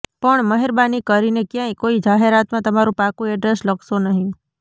પણ મહેરબાની કરીને ક્યાંય કોઇ જાહેરાતમાં તમારું પાકું એડ્રેસ લખશો નહીં